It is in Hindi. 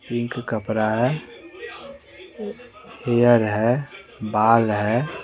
पिंक कपड़ा है एयर है बाल है।